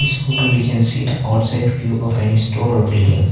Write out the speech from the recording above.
photo we can see the outside view of any store or buliding.